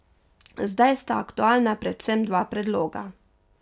Zdaj sta aktualna predvsem dva predloga.